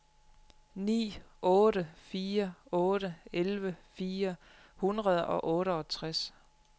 ni otte fire otte elleve fire hundrede og otteogtres